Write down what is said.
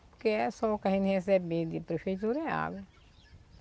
Porque é só o que a gente recebe de prefeitura é a água.